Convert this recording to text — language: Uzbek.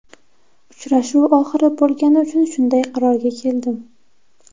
Uchrashuv oxiri bo‘lgani uchun shunday qarorga keldim.